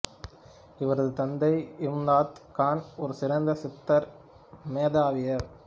இவரது தந்தை இம்தாத் கான் ஒரு சிறந்த சித்தார் மேதையாவார்